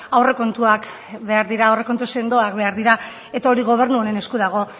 aurrekontuak behar dira aurrekontu sendoak behar dira eta hori gobernu honen esku dago